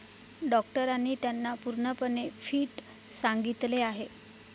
डॉक्टरांनी त्यांना पूर्णपणे फिट सांगितले आहे.